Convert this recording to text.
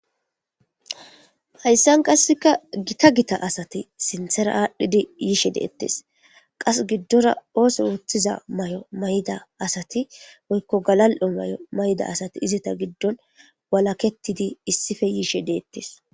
Hayssan qasikka giita giita asati sinthera adhidi yishe de'etes.qasi giddora otho mayo mayida asati woyko galal'o mayida asati izeta giddon wakaketidi issipe yishe de'etes.